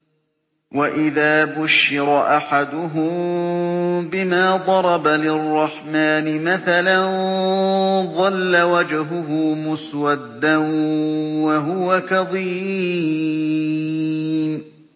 وَإِذَا بُشِّرَ أَحَدُهُم بِمَا ضَرَبَ لِلرَّحْمَٰنِ مَثَلًا ظَلَّ وَجْهُهُ مُسْوَدًّا وَهُوَ كَظِيمٌ